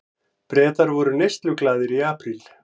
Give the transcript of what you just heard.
Bretar voru neysluglaðir í apríl